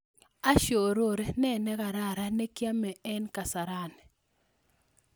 Olly ashorori ne nekararan ne kiame en kasarani